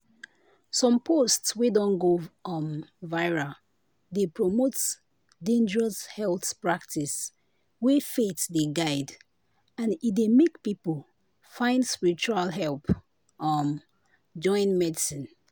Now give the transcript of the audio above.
some post wey don go um viral dey promote dangerous health practice wey faith dey guide and e dey make people find spiritual help um join medicine.